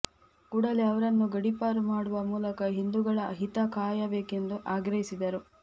ಕೂಡಲೇ ಅವರನ್ನು ಗಡಿಪಾರು ಮಾಡುವ ಮೂಲಕ ಹಿಂದುಗಳ ಹಿತ ಕಾಯಬೇಕೆಂದು ಆಗ್ರಹಿಸಿದರು